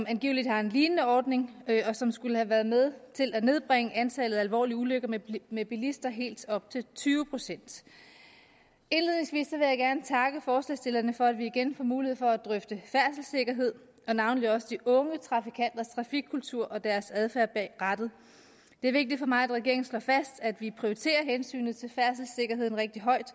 angiveligt har en lignende ordning som skulle have været med til at nedbringe antallet af alvorlige ulykker med bilister med helt op til tyve procent indledningsvis vil jeg gerne takke forslagsstillerne for at vi igen får mulighed for at drøfte færdselssikkerhed og navnlig også de unge trafikanters trafikkultur og deres adfærd bag rattet det er vigtigt for mig at regeringen slår fast at vi prioriterer hensynet til færdselssikkerheden rigtig højt